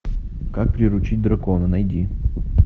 как приручить дракона найди